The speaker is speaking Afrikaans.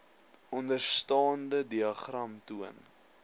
onderstaande diagram toon